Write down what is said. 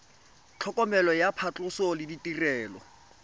tlhokomelo ya phatlhoso le ditirelo